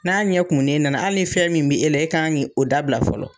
N'a ɲɛ kumunen nana, ali ni fɛn min bɛ e la, e ka kan k'o dabila fɔlɔ.